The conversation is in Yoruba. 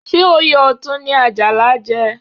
Ṣé oyè Ọ̀tún ni Àjàlá jẹ?